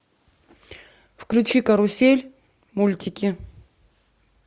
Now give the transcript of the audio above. включи карусель мультики